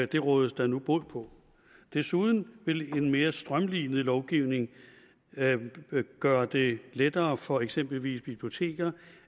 det rådes der nu bod på desuden vil en mere strømlinet lovgivning gøre det lettere for eksempelvis biblioteker